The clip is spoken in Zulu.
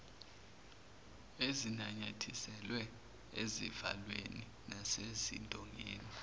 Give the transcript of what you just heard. ezinanyathiselwe ezivalweni nasezidongeni